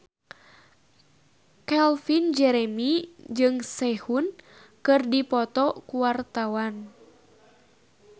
Calvin Jeremy jeung Sehun keur dipoto ku wartawan